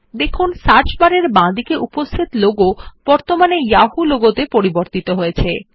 দেখুন সার্চ বারের বাঁদিকে উপস্থিত লোগো বর্তমানে যাহু লোগোতে পরিবর্তিত হয়ছে